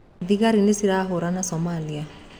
Thigari nĩcirahũrana Somalia